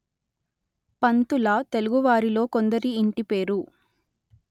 పంతుల తెలుగువారిలో కొందరి ఇంటిపేరు